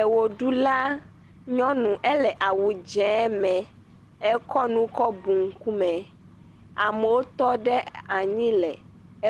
Ewoɖula nyɔnu ele awu dze me, ekɔ nu kɔ bu ŋkume, amewo tɔ ɖe anyi le